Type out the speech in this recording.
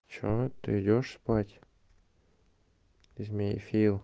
что ты идёшь спать ты змеефил